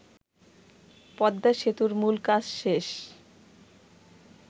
পদ্মাসেতুর মূল কাজ শেষ